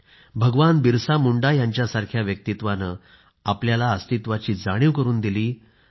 जर भगवान बिरसा मुंडा यांच्यासारख्या व्यक्तित्वाने आपल्याला अस्तित्वाची जाणीव करून दिली